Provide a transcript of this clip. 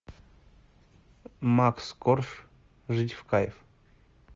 макс корж жить в кайф